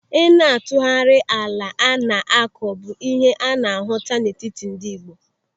Ị na-atụgharị ala a na-akọ bụ ihe a na-ahụta n'etiti ndị Ị̀gbò.